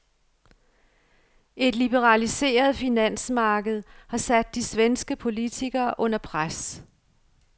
Et liberaliseret finansmarked har sat de svenske politikere under pres.